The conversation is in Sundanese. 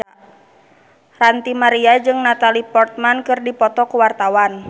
Ranty Maria jeung Natalie Portman keur dipoto ku wartawan